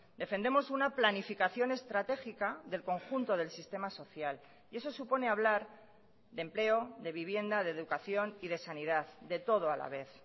defendemos una planificación estratégica del conjunto del sistema social y eso supone hablar de empleo de vivienda de educación y de sanidad de todo a la vez